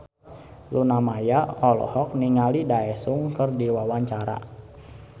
Luna Maya olohok ningali Daesung keur diwawancara